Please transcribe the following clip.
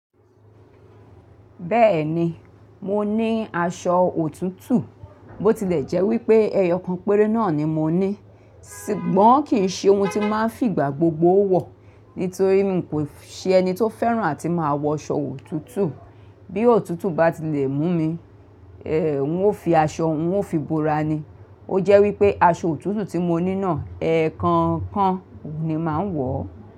Bẹ́ẹ̀ni, mo ní aṣọ òtútù. Bó tilẹ̀ jẹ́ wípé ẹyọ kan péré náà ni mo ní, ṣùgbọ́n kì í ṣe ohun tí máa ń fìgbà gbogbo wọ̀. Nítorí mi kò ṣe ẹni tó fẹ́ràn àti máa wọ aṣọ òtútù. Bí òtútù bá tilẹ̀ mú mi, è, n ó fi aṣọ, n ó fi bora ni. O jẹ́ wípé aṣọ òtútù tí mo ní náà, ẹ̀ẹ̀kan kan ni màá ń wọ̀